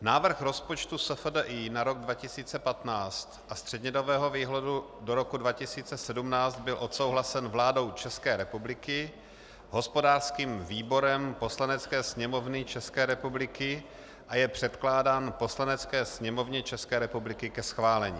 Návrh rozpočtu SFDI na rok 2015 a střednědobého výhledu do roku 2017 byl odsouhlasen vládou České republiky, hospodářským výborem Poslanecké sněmovny České republiky a je předkládán Poslanecké sněmovně České republiky ke schválení.